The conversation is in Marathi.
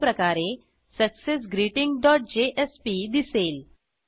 अशाप्रकारे सक्सेसग्रीटिंग डॉट जेएसपी दिसेल